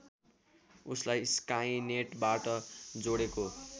उसलाई स्काइनेटबाट जोडेको